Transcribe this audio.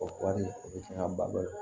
O kɔɔri o bɛ fɛn ba